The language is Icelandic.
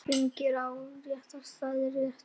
Fanginn vakti mestan áhuga þeirra.